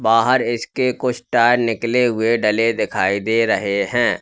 बाहर इसके कुछ टायर निकले हुए डले दिखाई दे रहे है।